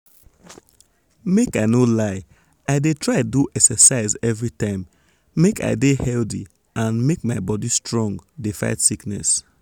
make i no lie i dey try do exercise everytime make i dey healthy and make my body strong dey fight sickness. um